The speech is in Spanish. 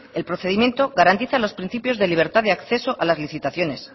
el procedimiento garantiza los principios de libertad de acceso a las licitaciones